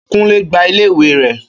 Kúnlé gbá iléèwé rẹ̀